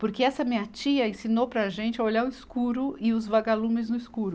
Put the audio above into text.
Porque essa minha tia ensinou para a gente a olhar o escuro e os vagalumes no escuro.